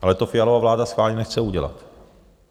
Ale to Fialova vláda schválně nechce udělat.